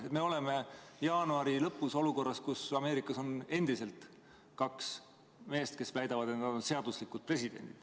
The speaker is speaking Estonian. Siis me oleme jaanuari lõpus olukorras, kus Ameerikas on endiselt kaks meest, kes väidavad, et nad on seaduslikud presidendid.